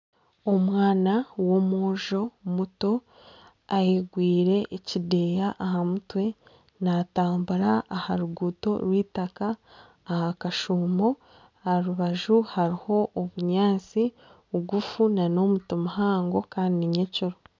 Omwana w'omwojo muto ayegwire ekideya aha mutwe natambura aha ruguuto rw'eitaka ah'akashuumo aha rubaju hariho obunyaantsi bugufu nana omuti muhango Kandi ni ny'ekiro.